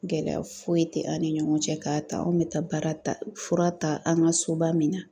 Gɛlɛya foyi tɛ an ni ɲɔgɔn cɛ , .k'a ta anw bɛ taa baara ta fura ta an ka soba min na